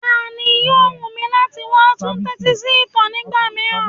Báà ni, yóò wù mí láti wá tú tẹ́tí sí ìtàn nígbà mìíràn.